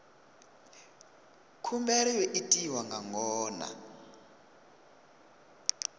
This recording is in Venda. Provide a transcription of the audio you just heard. khumbelo yo itwa nga ngona